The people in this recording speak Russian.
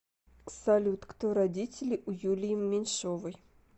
салют кто родители у юлии меньшовои